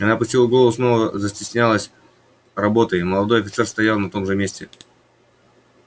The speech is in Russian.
она опустила голову и снова застеснялась работой молодой офицер стоял на том же месте